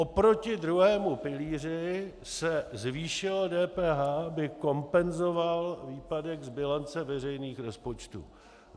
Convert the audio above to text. Proti druhému pilíři se zvýšilo DPH, aby kompenzovalo výpadek z bilance veřejných rozpočtů.